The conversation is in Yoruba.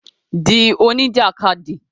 Di oní jàkadì